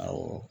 Awɔ